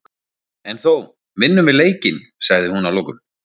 En þó, vinnum við leikinn sagði hún að lokum.